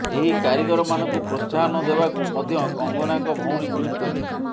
ଏହି କାରିଗରମାନଙ୍କୁ ପ୍ରୋତ୍ସାହନ ଦେବାକୁ ମଧ୍ୟ କଙ୍ଗନାଙ୍କ ଭଉଣୀ ଟ୍ବିଟ କରିଛନ୍ତି